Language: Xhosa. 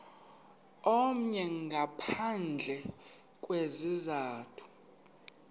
omnye ngaphandle kwesizathu